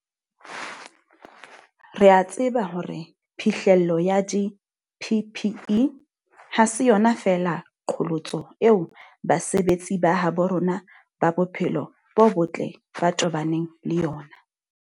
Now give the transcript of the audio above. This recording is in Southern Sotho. Re a tseba hore phihlello ya di-PPE ha se yona feela qholotso eo basebetsi ba habo rona ba bophelo bo botle ba tobaneng le yona.